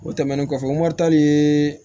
O tɛmɛnen kɔfɛ mɔritari ye